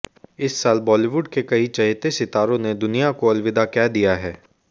इस साल बॉलीवुड के कई चहेते सितारों ने दुनिया को अलविदा कह दिया है